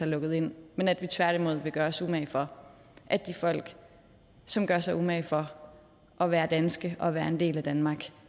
lukket ind men at vi tværtimod vil gøre os umage for at de folk som gør sig umage for at være danske og være en del af danmark